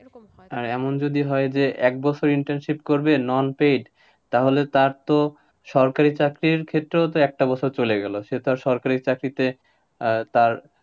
আর এমন যদি হয়, এক বছর internship করবে non paid তাহলে তার তো, সরকারি চাকরির ক্ষেত্রেও তো একটা বছর চলে গেলো, সে তো আর সরকারি চাকরিতে, আহ তার,